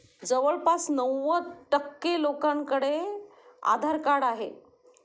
जवळपास ९० टक्के लोकांकडे आधार कार्ड आहे.